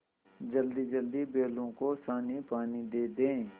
जल्दीजल्दी बैलों को सानीपानी दे दें